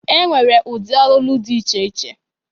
E nwere ụdị ọlụlụ dị iche iche.